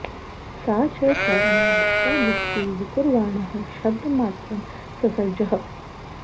सा च कौर्मे भूतादिस्तु विकुर्वाणः शब्दमात्रं ससर्ज ह